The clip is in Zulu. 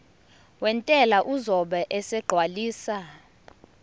wentela uzobe esegcwalisa